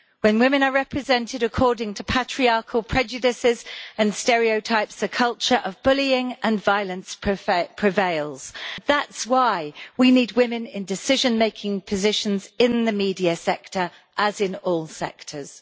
When women are represented according to patriarchal prejudices and stereotypes, a culture of bullying and violence prevails. That's why we need women in decision making positions in the media sector, as in all sectors.